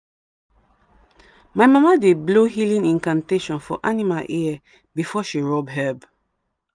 my mama dey blow healing incantation for animal ear before she rub herb.